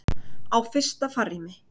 Á fyrsta farrými.